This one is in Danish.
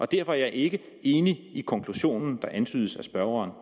derfor er jeg ikke enig i den konklusion der antydes af spørgeren